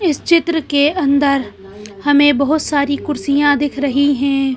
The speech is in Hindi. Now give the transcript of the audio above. इस चित्र के अंदर हमें बहुत सारी कुर्सियां दिख रही हैं।